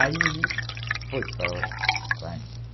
Aí foi para a Europa com a gente.